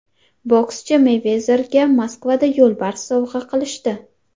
Bokschi Meyvezerga Moskvada yo‘lbars sovg‘a qilishdi.